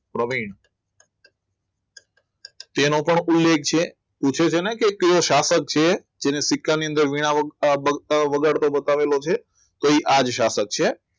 પ્રવીણ તેનો પણ ઉલ્લેખ છે પૂછે છે ને કે કયો સ્થાપક છે તેને ટીકાની અંદર વગાડતો બતાવેલો છે કઈ આજે સ્થાપક છે